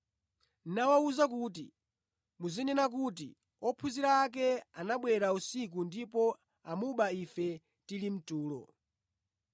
nawawuza kuti, “Muzinena kuti, ‘Ophunzira ake anabwera usiku ndipo amuba ife tili mtulo.’